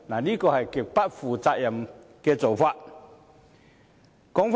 這是極不負責任的做法。